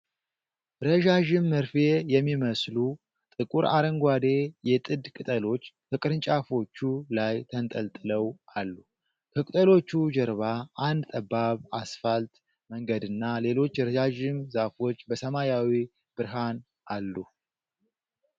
ረዣዥም መርፌ የሚመስሉ ጥቁርአረንጓዴ የጥድ ቅጠሎች ከቅርንጫፎቹ ላይ ተንጠልጥለው አሉ። ከቅጠሎቹ ጀርባ አንድ ጠባብ አስፋልት መንገድና ሌሎች ረዣዥም ዛፎች በሰማያዊ ብርሃን አሉ።